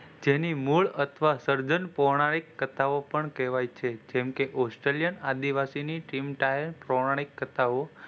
જેની મૂળ અથવા સર્જન પ્રોનાનીક કથાઓ પણ કહેવાય છે જેમકે પોષતુલ્ય આદિવાસીની ટીમ દાયક પ્રોનાનીક કથાઓ,